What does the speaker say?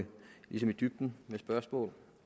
i dybden med spørgsmål